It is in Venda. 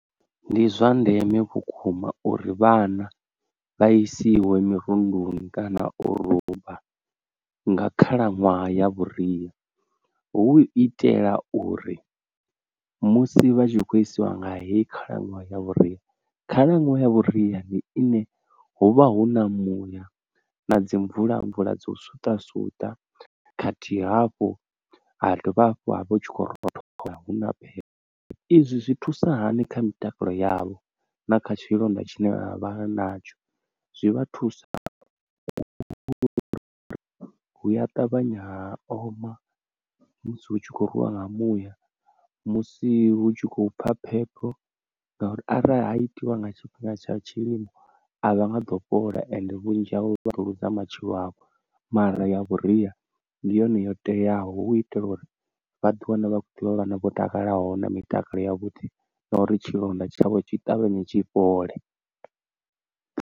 Ndi zwa ndeme vhukuma uri vhana vha isiwe mirunduni kana u ruba nga khalaṅwaha ya vhuria, hu itela uri musi vha tshi khou isiwa nga hedzi khalaṅwaha ya vhuria. Khalaṅwaha ya vhuria ndi ine huvha hu na muya na dzi mvula mvula dza u suṱa suṱa khathihi hafhu ha dovha hafhu havha hutshi kho rothola hu na phepho. Izwi zwi thusa hani kha mitakalo yavho na kha tshilonda tshine vha vha vha natsho zwi vha thusa uri hu a ṱavhanya ha oma musi hu tshi khou rwiwa nga muya. Musi hu tshi khou pfha phepho ngauri arali ha itiwa nga tshifhinga tsha tshilimo a vha nga ḓo fhola ende vhunzhi havho vha ri luza matshilo avho, mara ya vhuria ndi yone yo teaho hu itela uri vhaḓi wane vha kho ḓivha vhana vho takalaho na mitakalo ya vhuḓi na uri tshilonda tshavho tshi ṱavhanye tshi fhole.